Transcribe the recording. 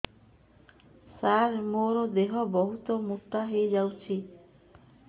ସାର ମୋର ଦେହ ବହୁତ ମୋଟା ହୋଇଯାଉଛି